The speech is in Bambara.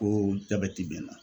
jabɛti bɛ n na